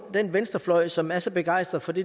den venstrefløj som er så begejstret for det